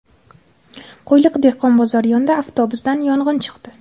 Qo‘yliq dehqon bozori yonida avtobusdan yong‘in chiqdi.